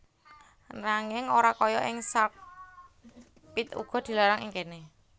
Nanging ora kaya ing Sark pit uga dilarang ing kéné